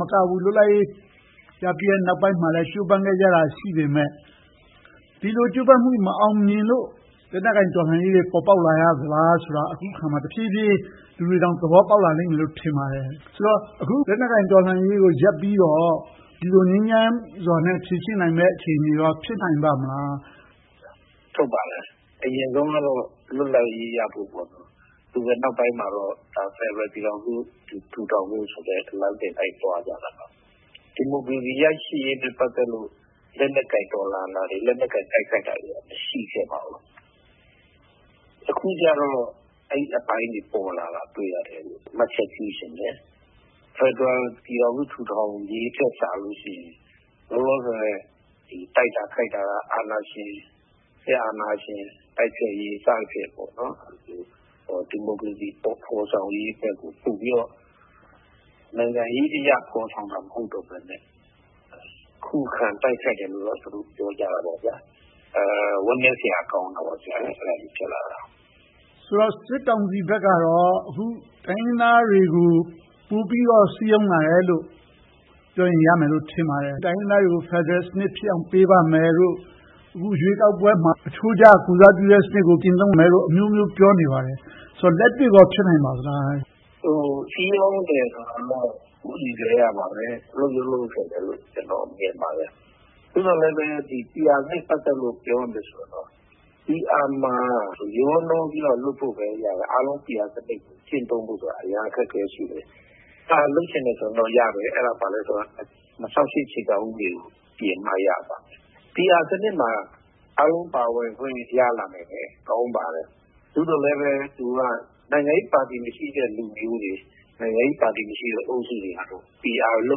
မကဘူး၊ လွတ်လပ်ရေးရပြီးတဲ့ နောက်ပိုင်းမှာလဲ ကြိုးပမ်းခဲ့ကြတာ ရှိပေမယ့်၊ ဒီလိုကြိုးပမ်းမှု မအောင်မြင်လို့ လက်နက်ကိုင် တော်လှန်ရေးတွေ ပေါ်ပေါက်လာရသလားဆိုတာ အခုအခါမှာ တဖြည်းဖြည်း လူတွေတောင် သဘောပေါက်လာလိမ့်မယ် ထင်ပါတယ်။ ဆိုတော့ အခုလက်နက်ကိုင် တော်လှန်ရေးကိုရပ်ပြီးတော့ ဒီလိုငြိမ်းချမ်းစွာနဲ့ ဖြေရှင်းနိုင်မယ့် အခြေအနေကော ဖြစ်နိုင်ပါ့မလား။ ဖြေ ။ ။ ဟုတ်ပါတယ်။ အရင်ဆုံးကတော့ လွတ်လပ်ရေးရဖို့ပေါ့။ အခုနောက်ပိုင်းမှာတော့ ဖယ်ဒရယ်ပြည်ထောင်စု ထူထောင်ဖို့ဆိုတဲ့ လမ်းစဉ်ကို လိုက်သွားကြတာပါ။ ဒီမိုကရေစီရရှိရေးအတွက် လက်နက်ကိုင် တော်လှန်ခဲ့တာတွေ၊ လက်နက်ကိုင် တိုက်ခိုက်ခဲ့တာတွေ မရှိခဲ့ပါဘူး။ အခုကြတော့ အဲဒီအပိုင်းတွေ ပေါ်လာတာ တွေ့ရတယ်လို့ မှတ်ချက်ပြုချင်တယ်။ ဖယ်ဒရယ်ပြည်ထောင်စု ထူထောင်ရေးထက်စာလို့ရှိရင် လောလောဆယ် တိုက်တာခိုက်တာက စစ်အာဏာရှင် တိုက်ဖျက်ရေး စသည်ဖြင့် ဒီမိုကရေစီ ဖော်ဆောင်ရေးဘက်ကို ပိုပြီတော့ နိုင်ငံရေးအရ ဖော်ဆောင်တာ မဟုတ်တော့ဘဲနဲ့ ခုခံတိုက်ခိုက်တယ်လို့တော့ သူတို့ပြောကြတာပေါ့။ အဲဒီလို ဖြစ်လာတာ ဝမ်းနည်းစရာကောင်းတာပေါ့။ မေး ။ ။ ဆိုတော့ စစ်ကောင်စီဘက်ကတော့ အခု တိုင်းရင်းသားတွေကို ပိုပြီးတော့ စည်းရုံးလာတာလို့ ပြောရင် ရမယ်လို့ ထင်ပါတယ်။ တိုင်းရင်းသားတွေကို ဖယ်ဒရယ်စနစ်ဖြစ်အောင် ပေးပါမယ်လို့ အခုရွေးကောက်ပွဲမှာ အချိုးကျကိုယ်စားပြုတဲ့စနစ်ကို ကျင့်သုံးမယ်လို့ အမျိုးမျိုးပြောနေပါတယ်။ ဆိုတော့ လက်တွေ့ကော ဖြစ်နိုင်ပါသလား။ ဖြေ ။ ။ စည်းရုံးတယ်ဆိုတာကတော့ ဟိုအရင်ကတည်းကပါပဲ။ အဲဒီလိုမျိုး ဖြစ်တယ်လို့ ကျနော် မြင်ပါတယ်။ သို့သော်လဲပဲ PR နဲ့ ပတ်သက်ပြီး ပြောရရင်တော့ PR မှာ ရောနှောပြီးတော့ လုပ်ဖို့ပဲရတာ။ အားလုံး PR စနစ်ကို ကျင့်သုံးဖို့ဆိုတာ အရမ်းအခက်အခဲ ရှိတယ်။ လုပ်ချင်တယ်ဆိုရင်တော့ရတယ် အဲဒါ ဘာလဲဆိုရင်တော့ ၂၀၀၈ အခြေခံဥပဒေကို ပြင်မှရမယ်။ PR စနစ်မှာ အားလုံးပါဝင်ခွင့် ရလာမယ်ဆိုတာ ကောင်းပါတယ်။ သို့သော်လဲ သူက နိုင်ငံရေးပါတီ မရှိတဲ့လူမျိုးတွေ၊ နိုင်ငံရေးပါတီမရှိတဲ့ အုပ်စုတွေကတော့ PR လု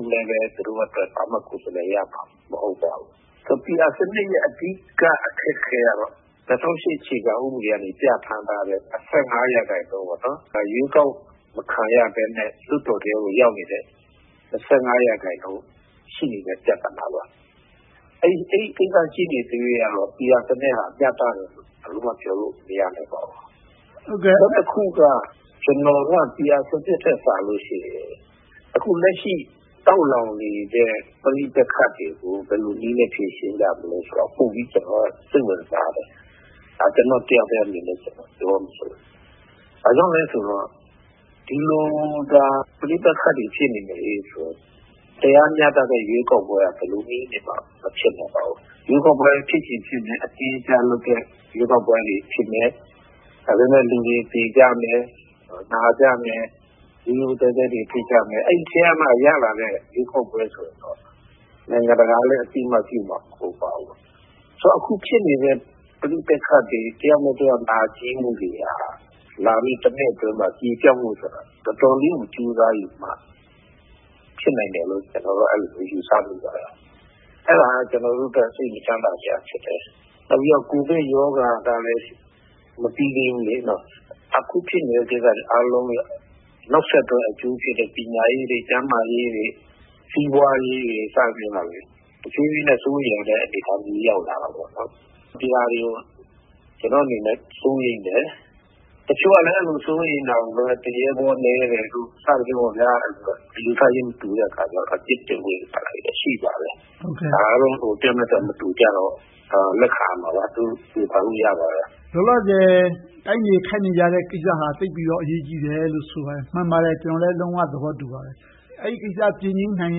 ပ်လဲ သူတို့အတွက်တော့ ဘာမှကိုယ်စားလှယ်ရမှာ မဟုတ်ပါဘူး။ PR စနစ်ရဲ့ အဓိကအခက်အခဲကတော့ ၂၀၀၈ အခြေခံဥပဒေကနေ ပြဌာန်းထားတဲ့ ရာခိုင်နှုန်း - ရွေးကောက်မခံရဘဲနဲ့ လွှတ်တော်ထဲကို ရောက်နေတဲ့ ရာခိုင်နှုန်း ရှိနေတဲ့ ပြဿနာပါ။ အဲဒီကိစ္စ ရှိနေသရွေ့ကတော့ PR စနစ်က မျှတတယ်လို့ ဘယ်လိုမှ ပြောလို့မရနိုင်ပါဘူး။ နောက်တခုက ကျနော်က PR စနစ်ထက် အခုလက်ရှိ တောက်လောင်းနေတဲ့ ပဋိပက္ခတွေကို ဘယ်လိုနည်းနဲ့ ဖြေရှင်းကြမလဲဆိုတာကို ပိုပြီးတော့စိတ်ဝင်စားတယ်။ ဒါက ကျနော့်တယောက်ထဲအမြင်နဲ့ ပြောဆိုတာပါ။ ဘာကြောင့်လဲဆိုတော့ ဒီလိုသာ ပဋိပက္ခတွေ ဖြစ်နေမယ်ဆိုရင် တရားမျှတတဲ့ ရွေးကောက်ပွဲက ဘယ်လိုနည်းနဲ့မှ မဖြစ်နိုင်ပါဘူး။ ရွေးကောက်ပွဲ ဖြစ်ခြင်းဖြစ်မယ်။ အတင်းအကျပ်လုပ်တဲ့ ရွေးကောက်ပွဲတွေ ဖြစ်မယ်။ ဒါပေမဲ့ လူတွေသေကြမယ်၊ နာကြမယ်၊ ရုတ်ရုတ်သဲသဲတွေ ဖြစ်ကြမယ်။ အဲဒီထဲကမှ ရလာတဲ့ ရွေးကောက်ပွဲဆိုရင်တော့ နိုင်ငံတကာကလည်း အသိအမှတ်ပြုမှာ မဟုတ်ပါဘူး။ ဆိုတော့ အခုဖြစ်နေတဲ့ ပဋိပက္ခတွေ။ တယောက်နဲ့တယောက် နာကျည်းမှုတွေက လာမယ့် နှစ်အတွင်းမှာ ပြေပျောက်မှုဆိုတာ တော်တော်လေးကို ကြိုးစားယူမှ ဖြစ်နိုင်မယ်လို့ ကျနော်တော့ အဲဒီလို ယူဆမိတယ်။ အဲဒါက ကျနော်တို့အတွက် စိတ်မချမ်းသာစရာ ဖြစ်တယ်။ နောက်ပြီးတော့ ကိုဗစ်ရောဂါကလည်း မပြီသေးဘူး။ အခုဖြစ်နေတာတွေရဲ့ နောက်ဆက်တွဲ အကျိုးသက်ရောက်မှုတွေက ပညာရေး၊ ကျန်းမာရေး၊ စီးပွားရေးတွေ စသဖြင့်က တဖြည်းဖြည်းနဲ့ စိုးရိမ်ရတဲ့ အနေအထားမျိုး ရောက်လာနေတယ်။ ဒီဟာတွေကို ကျနော့်အနေနဲ့ စိုးရိမ်တယ်။ တချို့ကလဲ အဲဒီလို စိုးရိမ်တာကိုပဲ သူရဲဘောနည်းတယ်လို့ စသဖြင့် အယူအဆချင်း မတူတဲ့အခါကြတော့ အပြစ်တင်ဝေဖန်တာတွေလည်း ရှိပါတယ်။ အားလုံးက တယောက်နဲ့တယောက် မတူကြတော့ လက်ခံရမှာပဲ။ ဝေဖန်လို့ရပါတယ်။ မေး ။ ။ လောလောဆယ် တိုက်နေခိုက်နေတဲ့ကိစ္စဟာ သိပ်ပြီးတော့ အရေးကြီးတယ်လို့ ဆိုပါတယ်။ မှန်ပါတယ်။ ကျနော်လည်း လုံးဝသဘောတူပါတယ်။ အဲဒီကိစ္စ ပြေငြိမ်းနိုင်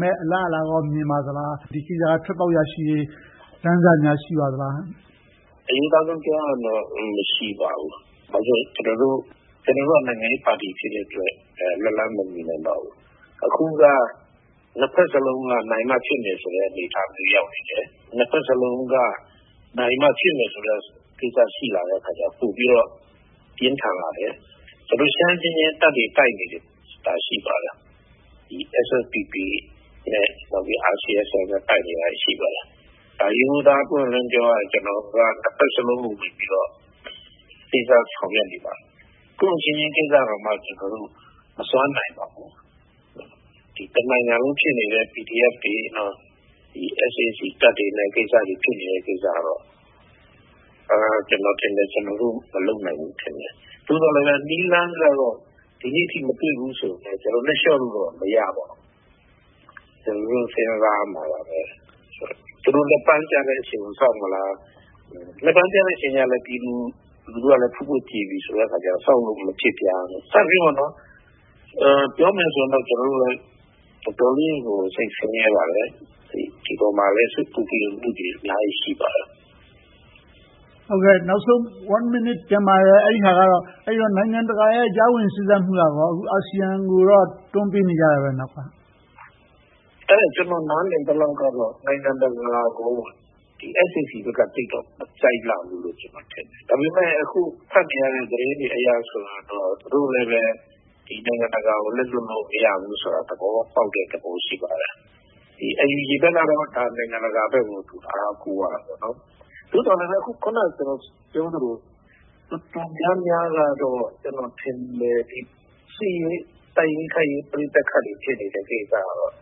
မယ့် အလားအလာကော မြင်ပါသလား။ ဒီကိစ္စ ထွက်ပေါက်ရရှိရေး လမ်းစများ ရှိပါသလား။ ဖြေ ။ ။ အရိုးသားဆုံး ပြောရရင်တော့ မရှိပါဘူး။ ကျနော်တို့က နိုင်ငံရေးပါတီ ဖြစ်တဲ့အတွက် လက်လှမ်မမီနိုင်ပါဘူး။ အခုက နှစ်ဘက်စလုံးက နိုင်မှဖြစ်မယ်ဆိုတဲ့ အနေအထားမျိုး ရောက်နေတယ်။ နှစ်ဘက်စလုံးက နိုင်မှဖြစ်မယ်ဆိုတဲ့ ကိစ္စ ရှိလာတဲ့အခါကြတော့ ပိုပြီးတော့ ပြင်းထန်လာတယ်။ ကျနော်တို့ ရှမ်းအချင်းချင်း တပ်တွေ တိုက်နေတာတွေ ရှိပါတယ်။ SSPP နဲ့ RCSS တို့ တိုက်နေတာ ရှိပါတယ်။ ရိုးရိုးသားသား ပွင့်ပွင့်လင်းလင်း ပြောရရင် ကျနော်တို့က နှစ်ဘက်စလုံးကိုဝင်ပြီးတော့ စေ့စပ်ဆောင်ရွက်နေပါတယ်။ ကိုယ့်အချင်းချင်းကိစ္စကိုတောင်မှ ကျနော်တို့ မစွမ်းနိုင်ပါဘူး။ အခု တနိုင်ငံလုံးဖြစ်နေတဲ့ PDF တွေ၊ SAC တပ်တွေနဲ့ ဖြစ်နေတဲ့ ကိစ္စကတော့ ကျနော်ထင်တယ် ကျနော်တို့ မလုပ်နိုင်ဘူးထင်တယ်။ သို့သော်လဲ နည်းလမ်းကတော့ ဒီနေ့အထိ မတွေ့သေးဘူးဆိုပေမယ့် ဒီလိုနဲ့လျှော့လို့တော့ မရပါဘူး။ ကျနော်တို့ စဉ်းစားရမှာပါပဲ။ သူတို့ လက်ပန်းကျတဲ့အချိန်ကို စောင့်မလား။ လက်ပန်းကျတဲ့အချိန်ရောက်ရင်လဲ ပြည်သူလူထုလည်း ဖွတ်ဖွတ်ညှက်ကြေနေပြီဆိုတော့ စောင့်လို့မဖြစ်ပြန်ဘူး စသည်ဖြင့် - ပြောမယ်ဆိုရင်တော့ ကျနော်တို့လည်း တော်တော်လေးကို စိတ်ဆင်းရဲပါတယ်။ ဒီအပေါ်မှာလဲ စိတ်ပူပန်မှုတွေများစွာ ရှိပါတယ်။ မေး ။ ။ နောက်ဆုံးတစ်မိနစ် ကျန်ပါတယ်။ အဲဒါကတော့ နိုင်ငံတကာရဲ့ ကြားဝင်စေ့စပ်မှုက - အခု အာဆီယံကိုတော့ အားလုံးက နောက်ကနေ တွန်းပေးနေကြတယ်။ ဖြေ ။ ။ ကျနော် နားလည်သလောက်ကတော့ နိုင်ငံတကာကို SAC ဘက်က သိပ်တော့ မကြိုက်လှဘူးလို့ ထင်တယ်။ ဒါပေမဲ့ အခုဖတ်နေရတဲ့ သတင်းတွေအရဆိုရင်တော့ သူတို့လဲပဲ နိုင်ငံတကာကို လက်လွှတ်လို့ မရဘူးဆိုတာ သဘောပေါက်တဲ့သဘော ရှိပါတယ်။ NUG ဘက်ကတော့ နိုင်ငံတကာဘက်ကို အားကိုးရတာပေါ့။ သို့သော်လဲပဲ အခုန ကျနော်ပြောသလို တော်တော်များများကတော့ ကျနော်ထင်တယ် စစ်ရေးတိုက်ရေး တိုက်ခိုက်ရေးပဋိပက္ခတွေ ဖြစ်နေတဲ့ ကိစ္စကတော့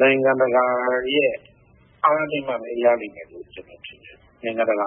နိုင်ငံတကာရဲ့ အားနဲ့ပဲ ရလိမ့်မယ်လို့ ကျနော်ထင်တယ်။ နိုင်ငံတကာ